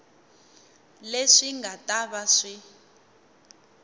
leswi nga ta va swi